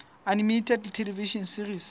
animated television series